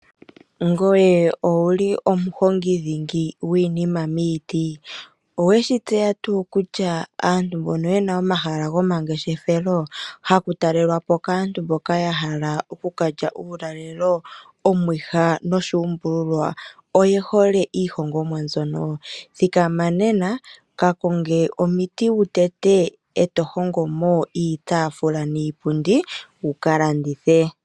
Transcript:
Ngoye owu li omuhongi dhingi gwiinima miiti? Owe shi tseya tuu kutya aantu mbono ye na omahala gomangeshefelo haku talelwa po kaantu mboka ya hala oku ka lya omaulalelo, omwiha noshuumbululwa oye hole iihongomwa mbyono? Thikama nena ka konge omiti wu tete e to hongo mo iitaafula niipundi wu ka landithe.